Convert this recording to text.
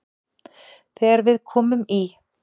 Þegar við komum í